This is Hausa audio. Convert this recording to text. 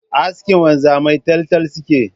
Askin wanzamai taltal suke yi